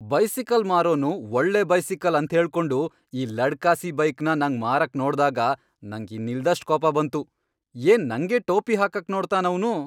Bicycle ಮಾರೋನು ಒಳ್ಳೆ bicycle ಅಂತ್ಹೇಳ್ಕೊಂಡು ಈ ಲಡ್ಕಾಸಿ ಬೈಕ್ನ ನಂಗ್ ಮಾರಕ್ ನೋಡ್ದಾಗ ನಂಗ್ ಇನ್ನಿಲ್ದಷ್ಟ್ ಕೋಪ ಬಂತು, ಏನ್ ನಂಗೇ ಟೋಪಿ ಹಾಕಕ್ ನೋಡ್ತಾನ್ ಅವ್ನು!